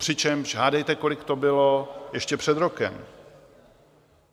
Přičemž hádejte, kolik to bylo ještě před rokem?